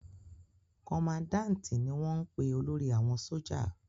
Kọmandáǹti ni wọ́n ń pe olórí àwọn sójà